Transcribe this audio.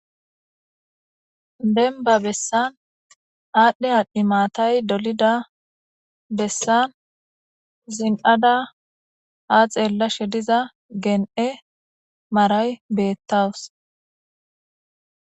Dembba bessan adhdhi adhi maatay diiza bessan ziniida geen'e maaray betawussu.